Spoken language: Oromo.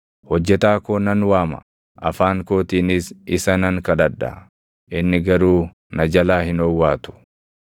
Hojjetaa koo nan waama; afaan kootiinis isa nan kadhadha; inni garuu na jalaa hin owwaatu.